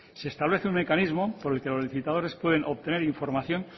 se establece un mecanismo por el que los licitadores pueden obtener información